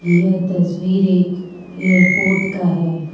यह तस्वीर एक इयारपोर्ट का है।